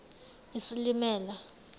isilimela